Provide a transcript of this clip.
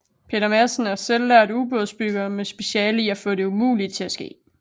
Peter Madsen er selvlært ubådsbygger med speciale i at få det umulige til at ske